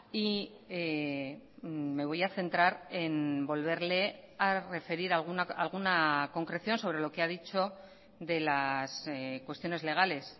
y me voy a centrar en volverle a referir alguna concreción sobre lo que ha dicho de las cuestiones legales